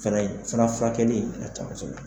O fɛnɛ sana furakɛli a le ta kosɛbɛ.